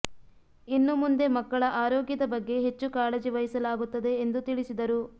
ಇನ್ನು ಮುಂದೆ ಮಕ್ಕಳ ಆರೋಗ್ಯದ ಬಗ್ಗೆ ಹೆಚ್ಚು ಕಾಳಜಿ ವಹಿಸಲಾಗುತ್ತದೆ ಎಂದು ತಿಳಿಸಿದರು